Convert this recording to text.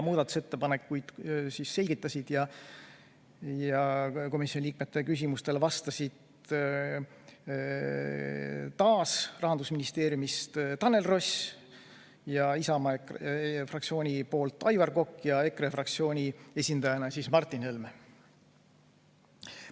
Muudatusettepanekuid selgitasid ja komisjoni liikmete küsimustele vastasid Rahandusministeeriumist Tanel Ross, Isamaa fraktsioonist Aivar Kokk ja EKRE fraktsiooni esindajana Martin Helme.